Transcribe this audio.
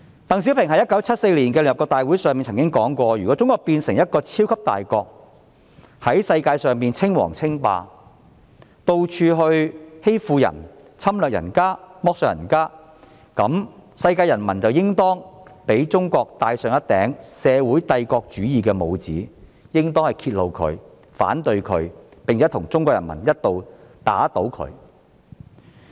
鄧小平在1974年的聯合國大會上說過，"如果中國......變成一個超級大國，也在世界上稱王稱霸，到處欺負人家，侵略人家，剝削人家，那麼，世界人民就應當給中國戴上一頂社會帝國主義的帽子，就應當揭露它，反對它，並且同中國人民一道，打倒它。